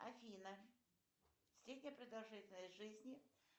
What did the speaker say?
афина средняя продолжительность жизни